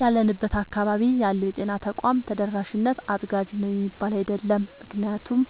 ያለንበት አካባቢ ያለው የጤና ተቋም ተደራሽነት አጥጋቢ ነው የሚባል አይደለም። ምክንያቱም